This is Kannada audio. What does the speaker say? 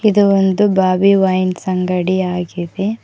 ಇದು ಒಂದು ಬಾಬಿ ವೈನ್ಸ್ ಅಂಗಡಿಯಾಗಿದೆ.